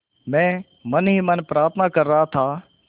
मैं मन ही मन प्रार्थना कर रहा था